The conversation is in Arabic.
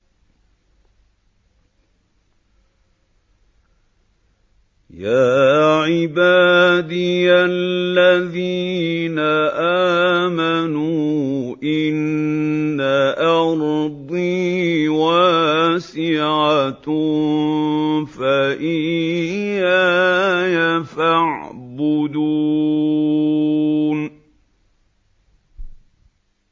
يَا عِبَادِيَ الَّذِينَ آمَنُوا إِنَّ أَرْضِي وَاسِعَةٌ فَإِيَّايَ فَاعْبُدُونِ